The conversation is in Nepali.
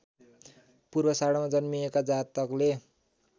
पूर्वाषाढामा जन्मिएका जातकले